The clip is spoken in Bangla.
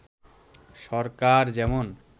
সরকার যেমন